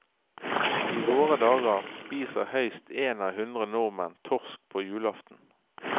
I våre dager spiser høyst én av hundre nordmenn torsk på julaften.